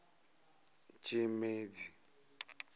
tshimedzi